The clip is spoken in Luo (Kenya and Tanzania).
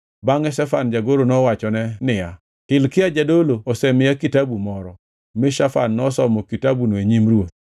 Bangʼe Shafan jagoro nowachone niya, “Hilkia jadolo osemiya kitabu moro.” Mi Shafan nosomo kitabuno e nyim ruoth.